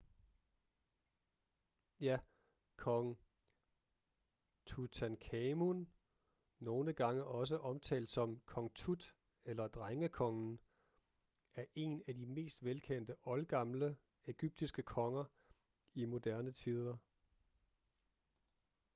ja kong tutankhamun nogle gange omtalt som kong tut eller drengekongen er en af de mest velkendte oldgamle egyptiske konger i moderne tider